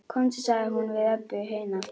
Komdu, sagði hún við Öbbu hina.